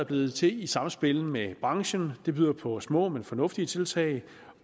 blevet til i samspil med branchen det byder på små men fornuftige tiltag